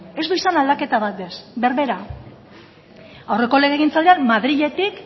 ez du izan aldaketa bat ere ez berbera aurreko legegintzaldian madriletik